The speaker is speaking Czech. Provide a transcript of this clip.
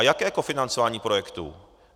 A jaké kofinancování projektů?